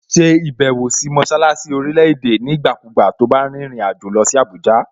Ṣe ìbẹ̀wò sí mọṣálásí orílẹ̀-èdè nígbàkúùgbà to bá rìnrìn àjò lọ sí Àbújá!